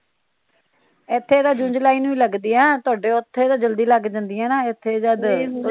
ਇੱਥੇ ਤਾ ਜੂਨ ਜੁਲਾਈ ਨੂੰ ਈ ਲੱਗਦੀਆਂ ਤੁਹਾਡੇ ਉੱਥੇ ਤਾ ਜਲਦੀ ਲਗ ਜਾਂਦੀਆਂ ਨਾ ਇੱਥੇ ਜਦ